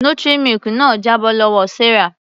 Nutri milk náà jábọ́ lọ́wọ Sarah.